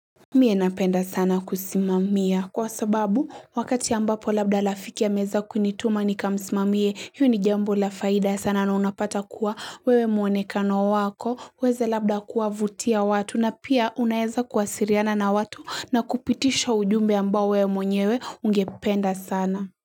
Mie napenda sana kusimamia kwa sababu wakati ambapo labda lafikia meza kunituma ni kamsimamie yu ni jambo lafaida sana na unapata kuwa wewe mwonekano wako weze labda kuwavutia watu na pia unaeza kuwasiriana na watu na kupitisha ujumbe ambao wewe mwonewe ungependa sana.